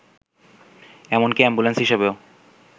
এমনকি অ্যাম্বুলেন্স হিসেবেও